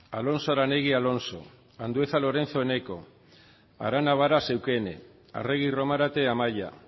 alonso aranegui alfonso andueza lorenzo eneko arana varas eukene arregi romarate amaia